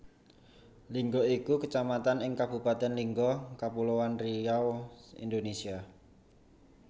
Lingga iku Kecamatan ing Kabupatèn Lingga Kapuloan Riau Indonesia